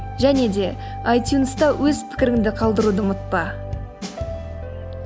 және де айтюнста өз пікіріңді қалдыруды ұмытпа